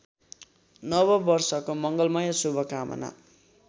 नववर्षको मङ्गलमय शुभकामना